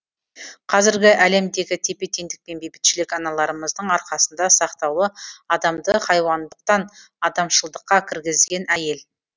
қазіргі әлемдегі тепе теңдік пен бейбітшілік аналарымыздың арқасында сақтаулы адамды хайуандықтан адамшылдыққа кіргізген әйел